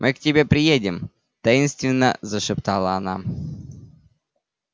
мы к тебе приедем таинственно зашептала она